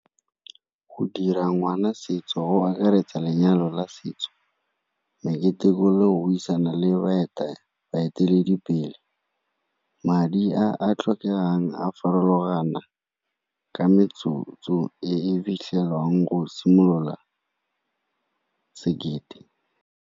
Go dira ngwana setso go akaretsa lenyalo la setso, meketeko le go buisana le baeteledipele madi a a tlhokegang a farologana ka metsotso e fitlhelwang go simolola sekete.